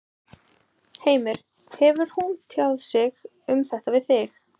Heimir: Hefur hún tjáð sig um þetta við þig?